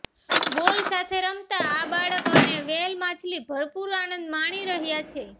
બોલ સાથે રમતા આ બાળક અને વ્હેલ માછલી ભરપૂર આનંદ માણી રહ્યાં છે